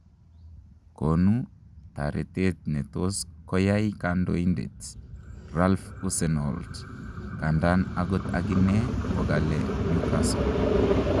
konu taretet netos koyai kandoindet Ralph Hussenhuttl kandan ogot aginee kogale Newcastle